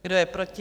Kdo je proti?